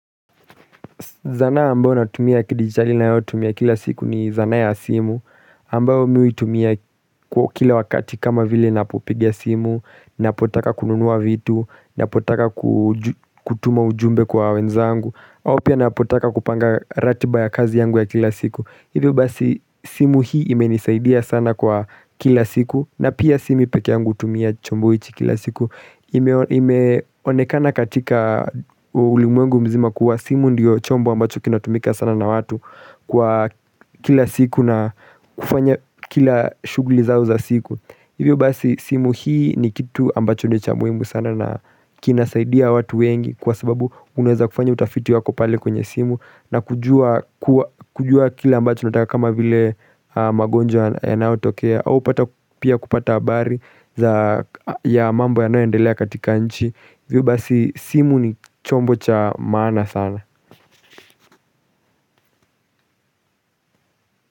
Zanaa ambayo natumia kidigitali ninayotumia kila siku ni zanaa ya simu ambayo mi huitumia kwa kila wakati kama vile napopigia simu, ninapotaka kununua vitu, napotaka kutuma ujumbe kwa wenzangu au pia napotaka kupanga ratiba ya kazi yangu ya kila siku. Hivyo basi simu hii imenisaidia sana kwa kila siku na pia si mi peke yangu hutumia chombo hichi kila siku Imeonekana katika ulimwengu mzima kuwa simu ndiyo chombo ambacho kinatumika sana na watu Kwa kila siku na kufanya kila shughuli zao za siku. Hivyo basi simu hii ni kitu ambacho ni cha muhimu sana na kinasaidia watu wengi kwa sababu unaweza kufanya utafiti wako pale kwenye simu na kujua kuwa kujua kila ambacho nataka kama vile magonjwa yanayotokea au upata pia kupata habari za ya mambo yanayoendelea katika nchi hivyo basi simu ni chombo cha maana sana.